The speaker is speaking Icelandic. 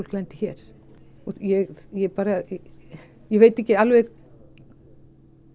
lendir hér og ég ég ég veit ekki